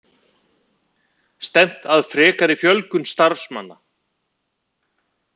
Stefnt að frekari fjölgun starfsmanna